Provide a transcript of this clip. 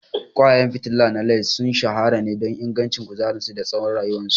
Ƙwayayen fitila na LED sun shahara ne don ingancin kuzarinsu da tsawon rayuwarsu.